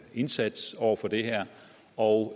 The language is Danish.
indsats over for det her og